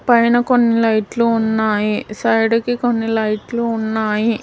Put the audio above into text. పైన కొన్ని లైట్లు ఉన్నాయి సైడ్ కి కొన్ని లైట్లు ఉన్నాయి.